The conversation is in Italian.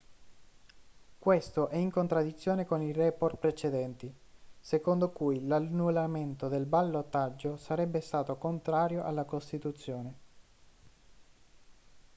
questo è in contraddizione con i report precedenti secondo cui l'annullamento del ballottaggio sarebbe stato contrario alla costituzione